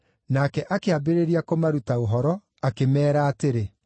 Nake akĩambĩrĩria kũmaruta ũhoro, akĩmeera atĩrĩ: